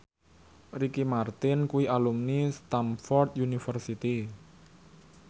Ricky Martin kuwi alumni Stamford University